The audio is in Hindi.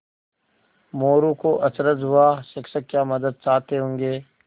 मोरू को अचरज हुआ शिक्षक क्या मदद चाहते होंगे